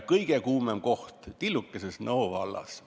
Kõige kuumem koht selles mõttes on tilluke Nõo vald.